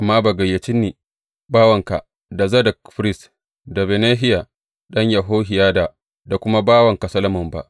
Amma bai gayyace ni bawanka, da Zadok firist, da Benahiya ɗan Yehohiyada, da kuma bawanka Solomon ba.